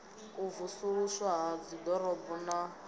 u vusuluswa ha dziḓorobo na